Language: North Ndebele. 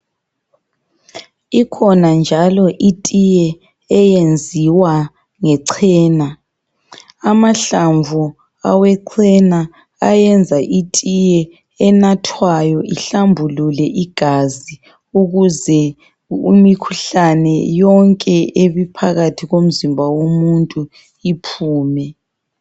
Ikhona njalo itiye eyenziwa ngechena .Amahlamvu awechena, ayenza itiye enathwayo ihlambulule igazi ,ukuze imikhuhlane yonke ebiphakathi komzimba womuntu iphume.